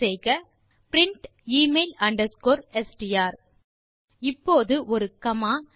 type செய்க print email underscore STR இப்போது ஒரு காமா